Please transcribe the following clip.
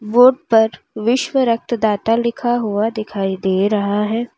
Board पर विश्व रक्तदाता लिखा हुआ दिखाई दे रहा है।